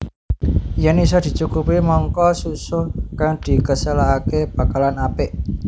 Yèn isa dicukupi mangka susuh kang dikaselaké bakalan apik